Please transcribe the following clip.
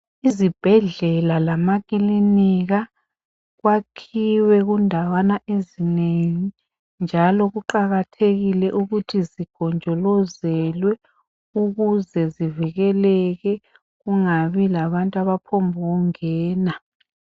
Izibhedlela lamakilinika kwakhiwe kundawana ezinengi njalo kuqakathekile ukuthi zigonjolozelwe ukuze zivikeleke kungabi labantu abaphombukungena.